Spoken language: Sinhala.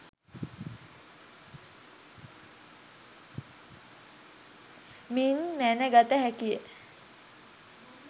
මින් මැනගත හැකිය